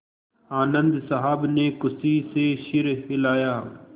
आनन्द साहब ने खुशी से सिर हिलाया